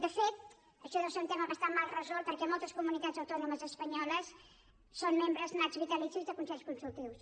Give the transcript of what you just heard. de fet això deu ser un tema bas tant mal resolt perquè a moltes comunitats autònomes espanyoles són membres nats vitalicis de consells consultius